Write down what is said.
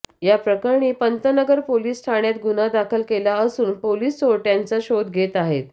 याप्रकरणी पंतनगर पोलीस ठाण्यात गुन्हा दाखल केला असून पोलीस चोरट्यांचा शोध घेत आहेत